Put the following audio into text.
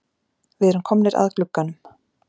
Við erum komnir að glugganum.